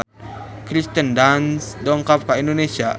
Kirsten Dunst dongkap ka Indonesia